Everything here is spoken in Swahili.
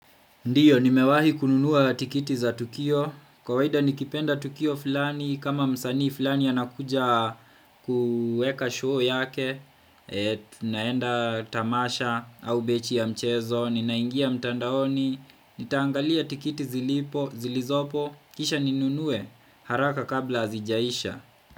Ndiyo, nimewahi kununua tikiti za Tukio, kawaida nikipenda Tukio fulani, kama msanii fulani anakuja kuweka show yake, naenda tamasha au mechi ya mchezo, ninaingia mtandaoni, nitaangalia tikiti zilizopo, kisha ninunuwe, haraka kabla hazijaisha.